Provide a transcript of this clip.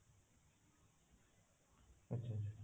ଆଚ୍ଛା ଆଚ୍ଛା